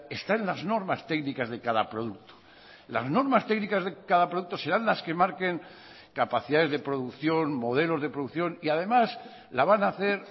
está en las normas técnicas de cada producto las normas técnicas de cada producto serán las que marquen capacidades de producción modelos de producción y además la van a hacer